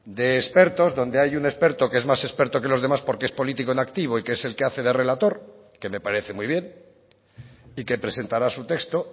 de expertos donde hay un experto que es más experto que los demás porque es político en activo y que es el que hace de relator que me parece muy bien y que presentará su texto